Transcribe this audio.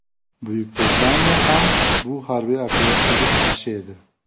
Buyuk Britaniya ham bu harbiy operatsiyaga qarshi edi.